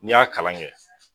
Ni y'a kalan kɛ